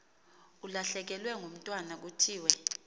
ulahlekelwe ngumntwana kuthiwe